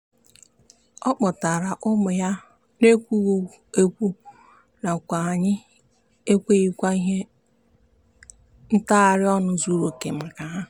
ọ kpọtara ụmụ ya n'ekwughị ekwu nakwa anyị enweghịkwa ihe ntagharị ọnụ zuruoke maka ha.